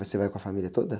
Você vai com a família toda?